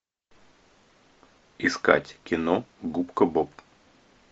искать кино губка боб